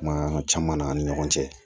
Kuma caman n'an ni ɲɔgɔn cɛ